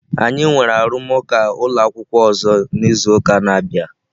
Anyị nwere arụmụka ụlọ akwụkwọ ọzọ n'izu na-abịa.